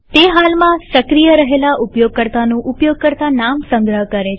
તે હાલમાં સક્રિય રહેલા ઉપયોગકર્તાનું ઉપયોગકર્તા નામ સંગ્રહ કરે છે